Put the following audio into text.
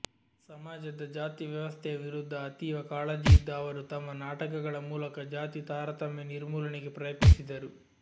ಸಮಾಜದ ಜಾತಿ ವ್ಯವಸ್ಥೆಯ ವಿರುಧ ಅತೀವ ಕಾಳಜಿ ಇದ್ದ ಅವರು ತಮ್ಮ ನಾಟಕಗಳ ಮೂಲಕ ಜಾತಿ ತಾರತಮ್ಯ ನಿರ್ಮೂಲನೆಗೆ ಪ್ರಯತ್ನಿಸಿದರು